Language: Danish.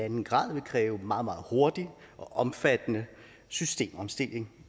en grader vil kræve meget meget hurtig og omfattende systemomstilling